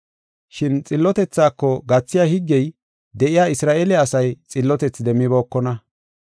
Shin xillotethako gathiya higgey de7iya Isra7eele asay xillotethi demmibookona.